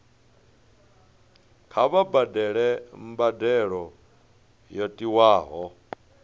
kha vha badele mbadelo yo tiwaho